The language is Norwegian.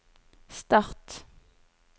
start